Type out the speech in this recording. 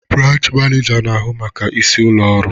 Branchi manija na-ahụ maka isi ụlọ ọrụ.